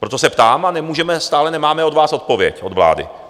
Proto se ptám a stále nemáme od vás odpověď, od vlády.